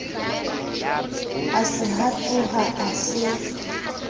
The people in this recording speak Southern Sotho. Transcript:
a se hatoha a se